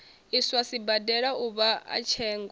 iswa sibadela uvha a tsengo